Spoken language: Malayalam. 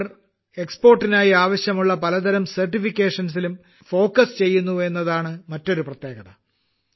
ഇവർ കയറ്റുമതിക്കായി ആവശ്യമുള്ള പലതരം സർട്ടിഫിക്കേഷൻസിലും ശ്രദ്ധ കേന്ദ്രീകരിക്കുന്നു എന്നതാണ് മറ്റൊരു പ്രത്യേകത